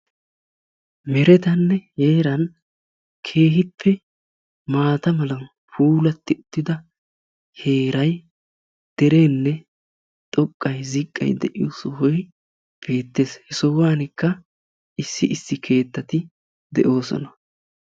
merettanne heeran keehippe maata mala puulati uttida heeray derenne xoqqay ziqqay de'iyoosa beettees; he sohuwankka issi issi keettati de'oosona.